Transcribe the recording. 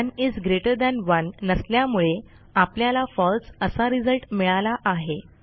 1 is greater than 1 नसल्यामुळे आपल्याला false असा रिझल्ट मिळाला आहे